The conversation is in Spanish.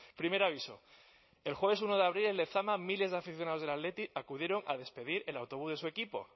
primer aviso el jueves uno de abril en lezama miles de aficionados del athletic acudieron a despedir el autobús de su equipo